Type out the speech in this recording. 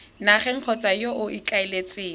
nageng kgotsa yo o ikaeletseng